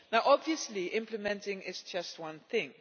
Obviously implementing is just one thing.